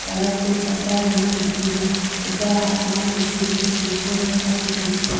सड़क पे पट्टा बनेया दिखेरा ऊपर आसमान दिखेरो जेको रंग सफ़ेद दिखेरो।